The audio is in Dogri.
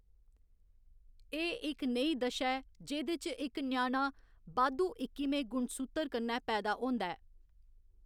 एह्‌‌ इक नेही दशा ऐ जेह्‌‌‌दे च इक ञ्याणा बाद्धू इक्किमें गुणसूत्र कन्नै पैदा होंदा ऐ।